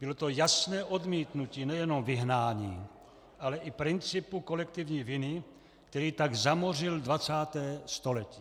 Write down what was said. Bylo to jasné odmítnutí nejenom vyhnání, ale i principu kolektivní viny, který tak zamořil 20. století.